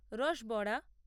রস বড়া